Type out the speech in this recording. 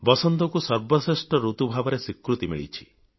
ବାସନ୍ତକୁ ଶ୍ରେଷ୍ଠ ଋତୁ ଭାବେ ସ୍ବିକୃତୀ ମିଳିଛି